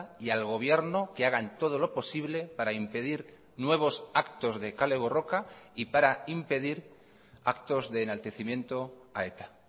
y al gobierno que hagan todo lo posible para impedir nuevos actos de kale borroka y para impedir actos de enaltecimiento a eta